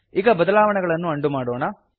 ಈಗ ಬದಲಾವಣೆಗಳನ್ನು ಅಂಡು ಮಾಡೋಣ